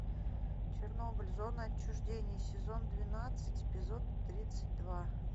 чернобыль зона отчуждения сезон двенадцать эпизод тридцать два